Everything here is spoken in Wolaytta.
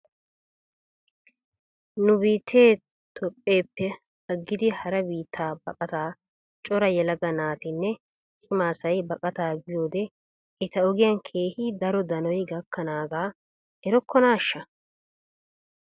Nu biittee toophpheeppe aggidi hara biitta baqataa cora yelaga naatinne cima asay baqataa biyoode eta ogiyan keehi daro danoy gakkanaagaa erokkonaashsha?